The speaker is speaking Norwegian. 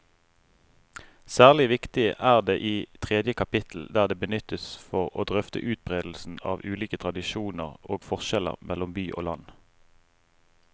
Særlig viktig er det i tredje kapittel, der det benyttes for å drøfte utbredelsen av ulike tradisjoner og forskjeller mellom by og land.